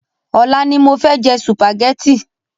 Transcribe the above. Ọlá ni mofẹ jẹ sùpàgétì